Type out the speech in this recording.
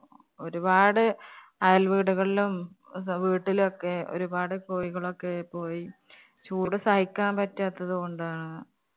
ഒരുപാട് അയൽവീടുകളിലും, വീട്ടിലും ഒക്കെ ഒരുപാട് കോഴികളൊക്കെ പോയി. ചൂട് സഹിക്കാന്‍ പറ്റാത്തത് കൊണ്ടാ.